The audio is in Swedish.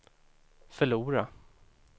förlora